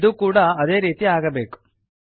ಇದೂ ಕೂಡ ಅದೇ ರೀತಿ ಆಗಬೇಕು